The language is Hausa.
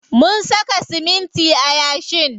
Mun saka siminti a yashin.